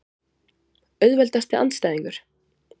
Auðveldasti andstæðingur?